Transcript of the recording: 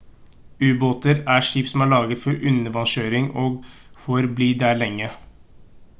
ubåter er skip som er laget for undervanns kjøring og for bli der lenge